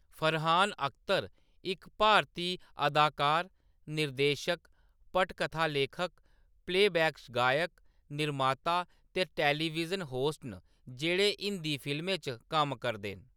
फरहान अख्तर इक भारती अदाकार, निर्देशक, पटकथा लेखक, प्लेबैक गायक, निर्माता ते टेलीविजन होस्ट न जेह्‌‌ड़े हिंदी फिल्में च कम्म करदे न।